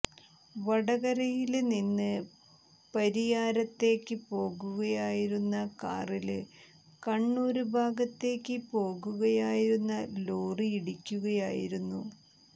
വടകരയില് നിന്ന് പരിയാരത്തേക്ക് പോകുകയായിരുന്ന കാറില് കണ്ണൂര് ഭാഗത്തേക്ക് പോകുകയായിരുന്ന ലോറിയിടിക്കുകയായിരുന്നു